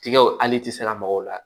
Tigaw hali t'i sira mɔgɔw la